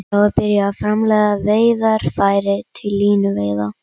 Þar var byrjað að framleiða veiðarfæri til línuveiða.